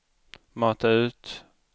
mata ut